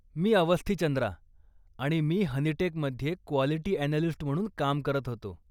मी अवस्थी चंद्रा आणि मी हनीटेकमध्ये क्वालिटी अॅनलिस्ट म्हणून काम करत होतो.